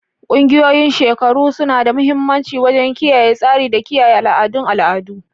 Ƙungiyoyin shekaru suna da mahimmanci wajen kiyaye tsari da kiyaye al'adun al'adu.